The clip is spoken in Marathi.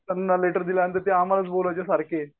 त्यांना लेटर दिला तर ते आम्हालाच बोलायचे सारखे.